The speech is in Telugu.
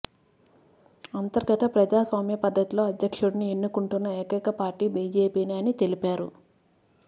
అంతర్గత ప్రజాస్వామ్య పద్ధతిలో అధ్యక్షుడిని ఎన్నుకుంటున్న ఏకైక పార్టీ బీజేపీనే అని తెలిపారు